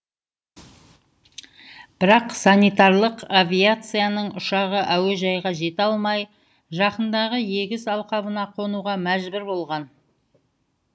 бірақ санитарлық авиацияның ұшағы әуежайға жете алмай жақындағы егіс алқабына қонуға мәжбүр болған